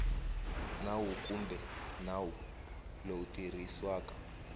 nawu kumbe nawu lowu tirhisiwaka